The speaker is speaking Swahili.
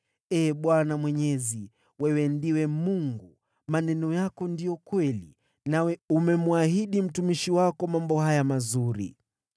Ee Bwana Mwenyezi, wewe ndiwe Mungu! Maneno yako ndiyo kweli, nawe umemwahidi mtumishi wako mambo haya mazuri.